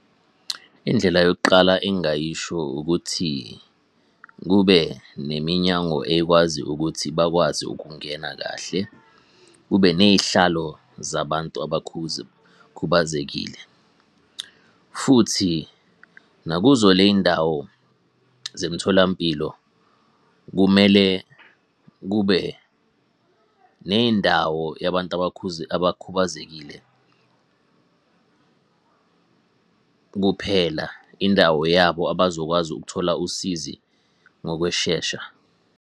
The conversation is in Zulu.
Indlela yokuqala engingayisho ukuthi, kube neminyango ekwazi ukuthi bakwazi ukungena kahle, kube ney'hlalo zabantu . Futhi nakuzo ley'ndawo zemtholampilo kumele kube ney'ndawo yabantu abakhubazekile kuphela, indawo yabo abazokwazi ukuthola usizi ngokweshesha.